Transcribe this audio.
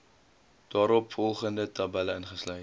daaropvolgende tabelle ingesluit